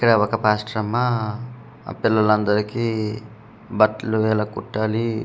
ఇక్కడ ఒక పాస్టర్ అమ్మ ఆ పిల్లలందరికీ బట్టలు ఎలా కుట్టాలి.